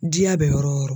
Diya bɛ yɔrɔ o yɔrɔ